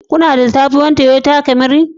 Kuna da sabuwar Toyota Camry